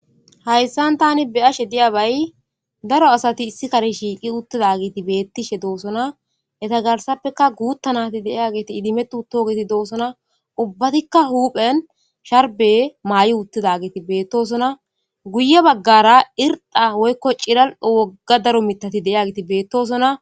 Hayssan tani be ashe diyabay daro asati issi kari shiiqi uttida giiti beettishe doosona eta garsappeka guuttanati deiya geeti idimetu too geti doosona ubbatikka huphen sharbe maay'i uttida geeti beettosona guye baggara irdha woykko ciral wogga daro mitati deya giti beettosona.